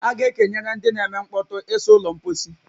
A ga-ekenyere ndị n'eme nkpọtu ịsa ụlọ mposi